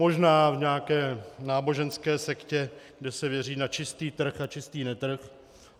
Možná v nějaké náboženské sektě, kde se věří na čistý trh a čistý netrh.